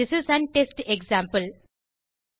this is an test example